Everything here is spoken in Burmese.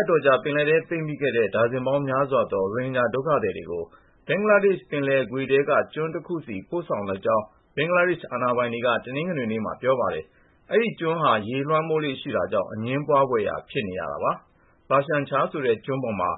အတော်ကြာ ပင်လယ်ထဲ ပိတ်မိခဲ့တဲ့ ဒါဇင်ပေါင်းများစွာသော ရိုဟင်ဂျာဒုက္ခသည်တွေကို ဘင်္ဂလားဒေ့ရှ် ပင်လယ်ကွေ့ထဲက ကျွန်းတခုဆီ ပို့ဆောင်လိုက်ကြောင်း ဘင်္ဂလားဒေ့ရှ် အာဏာပိုင်တွေက တနင်္ဂနွေနေ့မှာ ပြောပါတယ်။ အဲဒီကျွန်းဟာ ရေလွှမ်းမိုးလေ့ရှိတာကြောင့် အငြင်းပွားဖွယ် ဖြစ်နေရတာပါ။ Bhashan Char ဆိုတဲ့ ကျွန်းပေါ်မှာ